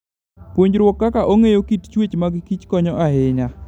Puonjruok kaka ong'eyo kit chwech magkich konyo ahinya.